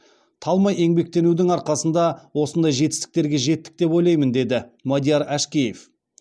талмай еңбектенудің арқасында осындай жетістіктерге жеттік деп ойлаймын деді мадияр әшкеев